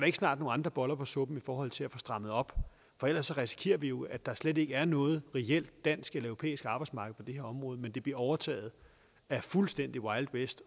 ikke snart nogle andre boller på suppen i forhold til at få strammet op for ellers risikerer vi jo at der slet ikke er noget reelt dansk eller europæisk arbejdsmarked på det her område men at det bliver overtaget af fuldstændig wild west